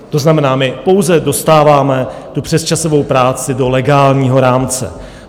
To znamená, my pouze dostáváme tu přesčasovou práci do legálního rámce.